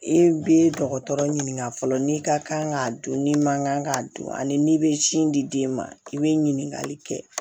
E bɛ dɔgɔtɔrɔ ɲininka fɔlɔ n'i ka kan k'a dun ni mankan ka dun ani i bɛ sin di den ma i bɛ ɲininkali kɛ